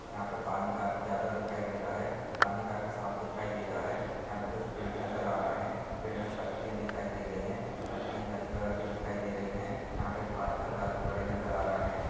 यहाँ पे पानी काफी ज्यादा दिखाई दे रहा है पानी काफी साफ दिखाई दे रहा है यहाँ पे कुछ पेड़ नजर आ रहे है पेड़ मे पत्तिया दिखाई दे रही है पत्तिया हरी कलर की दिखाई दे रही है यहाँ पे पात्थर काफि बड़े नजर आ रहे है।